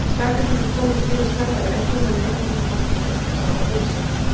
Snæfellingar komust yfir snemma í leiknum en heimamenn voru ekki lengi að svara fyrir sig.